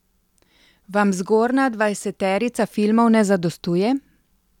Vam zgornja dvajseterica filmov ne zadostuje?